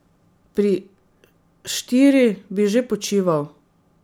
Pri štiri bi že počival.